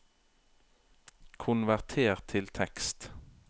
konverter til tekst